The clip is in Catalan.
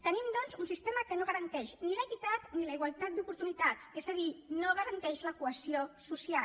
tenim doncs un sistema que no garanteix ni l’equitat ni la igualtat d’oportunitats és a dir no garanteix la cohesió social